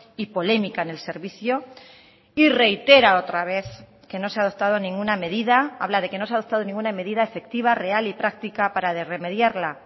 y polémica en el servicio y reitera otra vez que no se ha adoptado ninguna medida habla de que no se ha adoptado ninguna medida efectiva real y práctica para remediarla